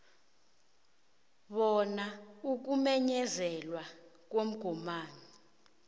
bona ukumenyezelwa komgomani